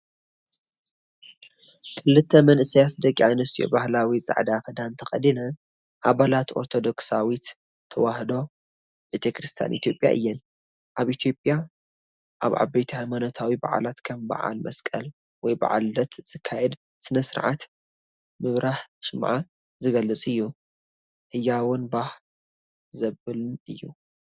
ክልተ መንእሰያት ደቂ ኣንስትዮ ባህላዊ ጻዕዳ ክዳን ተኸዲነን ኣባላት ኦርቶዶክሳዊት ተዋህዶ ቤተክርስትያን ኢትዮጵያ እየን። ኣብ ኢትዮጵያ ኣብ ዓበይቲ ሃይማኖታዊ በዓላት ከም በዓል መስቀል ወይ በዓል ልደት ዝካየድ ስነ-ስርዓት ምብራህ ሽምዓ ዝገልጽ እዩ። ህያውን ባህ ዘብልን እዩ።